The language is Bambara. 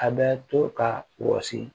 A bɛ to ka wɔsi